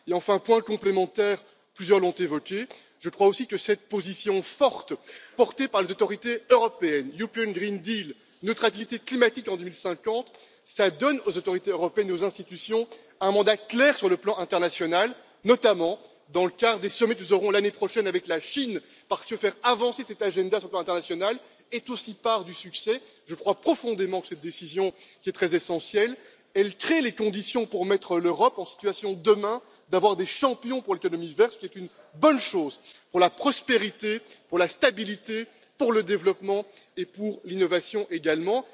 Et enfin, point complémentaire, que plusieurs ont évoqué je crois aussi que cette position forte, portée par les autorités européennes pacte vert européen, neutralité climatique en 2050 donne aux autorités européennes et aux institutions un mandat clair sur le plan international, notamment dans le cadre des sommets de l'année prochaine avec la Chine. Faire avancer cet ordre du jour sur le plan international est aussi part du succès, et je crois profondément que cette décision est véritablement essentielle, car elle crée les conditions pour mettre l'Europe en situation, demain, d'avoir des champions pour l'économie verte, ce qui est une bonne chose pour la prospérité, pour la stabilité, pour le développement et pour l'innovation également.